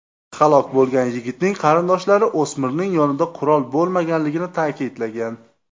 Halok bo‘lgan yigitning qarindoshlari o‘smirning yonida qurol bo‘lmaganligini ta’kidlagan.